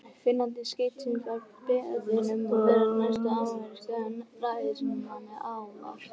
Finnandi skeytisins var beðinn um að gera næsta ameríska ræðismanni aðvart.